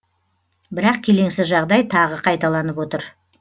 бірақ келеңсіз жағдай тағы қайталанып отыр